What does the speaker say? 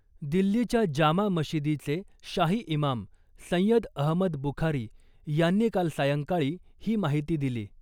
दिल्लीच्या जामा मशिदीचे शाही इमाम सय्यद अहमद बुखारी यांनी काल सायंकाळी ही माहिती दिली .